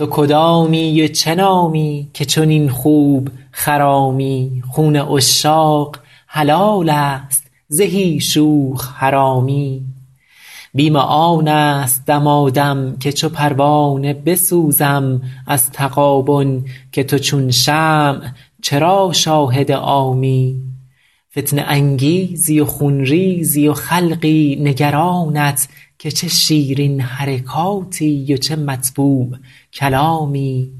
تو کدامی و چه نامی که چنین خوب خرامی خون عشاق حلال است زهی شوخ حرامی بیم آن است دمادم که چو پروانه بسوزم از تغابن که تو چون شمع چرا شاهد عامی فتنه انگیزی و خون ریزی و خلقی نگرانت که چه شیرین حرکاتی و چه مطبوع کلامی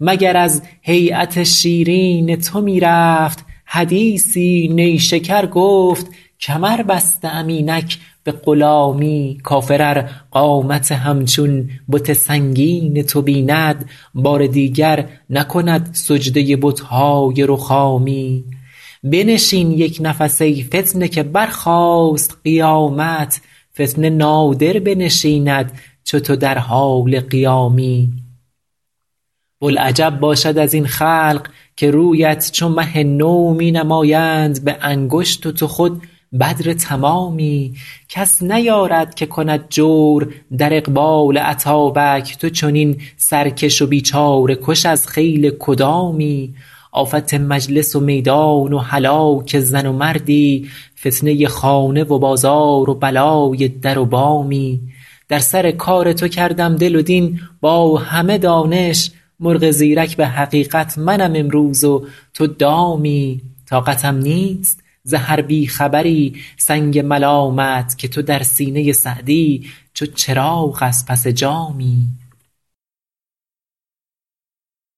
مگر از هییت شیرین تو می رفت حدیثی نیشکر گفت کمر بسته ام اینک به غلامی کافر ار قامت همچون بت سنگین تو بیند بار دیگر نکند سجده بت های رخامی بنشین یک نفس ای فتنه که برخاست قیامت فتنه نادر بنشیند چو تو در حال قیامی بلعجب باشد از این خلق که رویت چو مه نو می نمایند به انگشت و تو خود بدر تمامی کس نیارد که کند جور در اقبال اتابک تو چنین سرکش و بیچاره کش از خیل کدامی آفت مجلس و میدان و هلاک زن و مردی فتنه خانه و بازار و بلای در و بامی در سر کار تو کردم دل و دین با همه دانش مرغ زیرک به حقیقت منم امروز و تو دامی طاقتم نیست ز هر بی خبری سنگ ملامت که تو در سینه سعدی چو چراغ از پس جامی